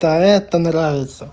та эта нравится